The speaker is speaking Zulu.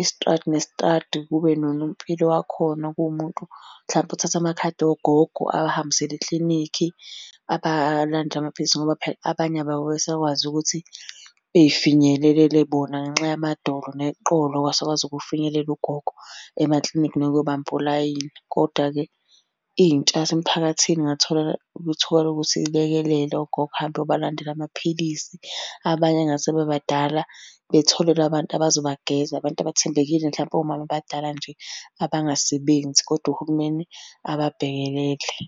isitradi nesitradi, kube nonompilo wakhona kuwumuntu hlampe othatha amakhadi ogogo abahambisele eklinikhi. Abalandele amaphilisi ngoba phela abanye babo ababe besakwazi ukuthi bey'finyelelele bona ngenxa yamadolo neqolo akasakwazi ukufinyelela ugogo emaklinikhi nokuyobamba olayini, kodwa-ke intsha yasemphakathini ingathola ithuba lokuthi ilekelele ogogo, ihambe iyobalandela amaphilisi. Abanye engathi sebebadala batholelwe abantu abazobageza, abantu abathembekile mhlampe omama abadala nje abangasebenzi, kodwa uhulumeni ababhekelele.